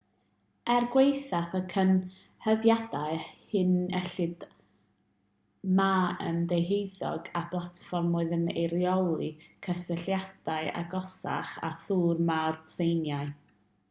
er gwaethaf y cyhuddiadau hyn enillodd ma yn ddeheuig ar blatfform oedd yn eirioli cysylltiadau agosach â thir mawr tsieina